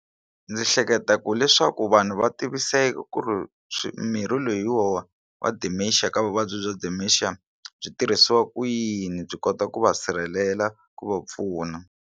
Ndzi hleketa ku leswaku vanhu va ku ri mirhi loyiwa wa dementia ka vuvabyi bya dementia byi tirhisiwa ku yini byi kota ku va sirhelela ku va pfuna.